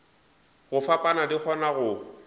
go fapana di kgona go